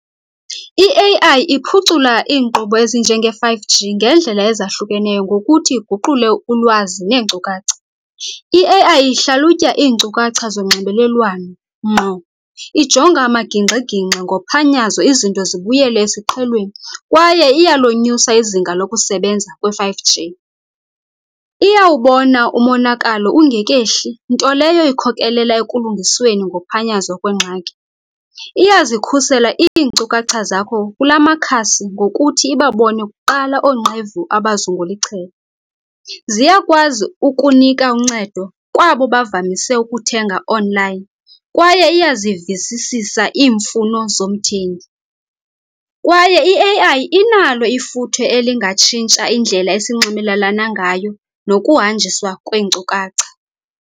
I-A_I iphucula iinkqubo ezinjenge-five G ngeendlela ezahlukeneyo ngokuthi iguqule ulwazi neenkcukacha. I-A_I ihlalutya iinkcukacha zonxibelelwano ngqo, ijonga amaginxi-ginxi ngophanyazo izinto zibuyele esiqhelweni kwaye iyalonyusa izinga lokusebenza kwe-five G. Iyawubona umonakalo ungekehli nto leyo ikhokelela ekulungisweni ngophanyazo kwengxaki. Iyazikhusela iinkcukacha zakho kula makhasi ngokuthi ibabone kuqala oonqevu abazungula ichele. Ziyakwazi ukunika uncedo kwabo bavamise ukuthenga onlayini, kwaye iyazivisisa iimfuno zomthengi. Kwaye i-A_I inalo ifuthe elingatshintsha indlela esinxibelelana ngayo nokuhanjiswa kweenkcukacha.